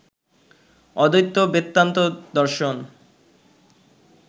অদ্বৈত বেদান্ত দর্শন